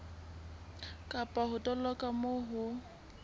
kapa ho toloka moo ho